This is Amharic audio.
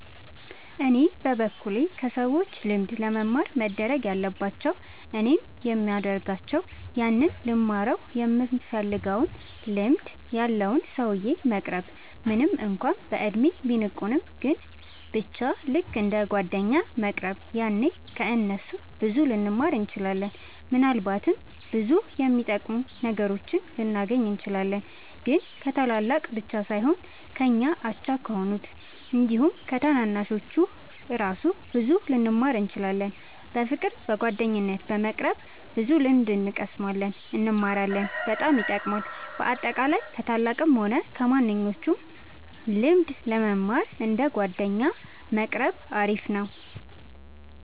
እኔ በበኩሌ ከሰዎች ልምድ ለመማር መደረግ ያለባቸው እኔም የሚደርጋቸው ያንን ልንማረው ይምንፈልገውን ልምድ ያለውን ሰውዬ መቅረብ ምንም እንኳን በእድሜ ቢልቁንም ግን በቻ ልክ እንደ ጓደኛ መቅረብ ያኔ ከ እነሱ ብዙ ልንማር እንችላለን። ምናልባትም ብዙ የሚጠቅሙ ነገሮችን ልናገኝ እንችላለን። ግን ከታላላቅ ብቻ ሳይሆን ከኛ አቻ ከሆኑት አንዲሁም ከታናናሾቹ እራሱ ብዙ ልንማር እንችላለን። በፍቅር በጓደኝነት በመቅረብ ብዙ ልምድ እንቀስማለን እንማራለን በጣም ይጠቅማል። በአጠቃላይ ከ ታላላቅም ሆነ ከማንኞቹም ልምድ ለመማር እንደ ጓደኛ መቆረብ አሪፍ ነው